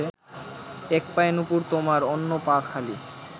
এক পায়ে নুপুর তোমার অন্য পা খালি